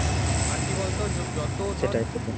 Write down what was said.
আর কি বলতো তোর যত